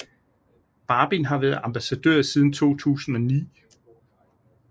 Barbin har været ambassadør siden 2009